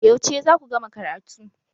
Yauce za ku gama karatu?